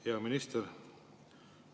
Hea minister!